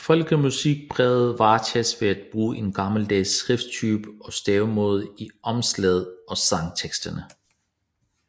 Folkemusikpræget varetages ved at bruge en gammeldags skrifttype og stavemåde i omslaget og sangteksterne